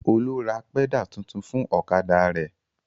Olú ra pẹ́dà tuntun fún ọ̀kadà rẹ̀.